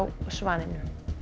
Svaninum